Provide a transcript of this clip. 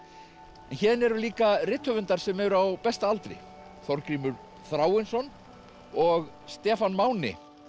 en héðan eru líka rithöfundar sem eru á besta aldri Þorgrímur Þráinsson og Stefán Máni